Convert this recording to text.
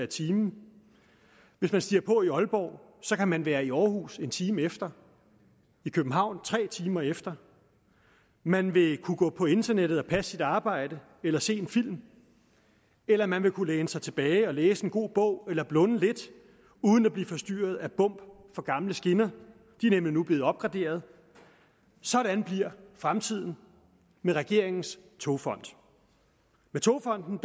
time hvis man stiger på i aalborg kan man være i aarhus en time efter i københavn tre timer efter man vil kunne gå på internettet og passe sit arbejde eller se en film eller man vil kunne læne sig tilbage og læse en god bog eller blunde lidt uden at blive forstyrret af bump fra gamle skinner de er nemlig nu blevet opgraderet sådan bliver fremtiden med regeringens togfond med togfonden